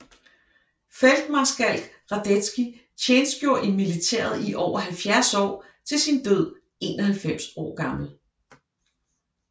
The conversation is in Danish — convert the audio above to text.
Feltmarskalk Radetzky tjenestgjorde i militæret i over 70 år til sin død 91 år gammel